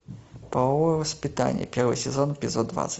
половое воспитание первый сезон эпизод двадцать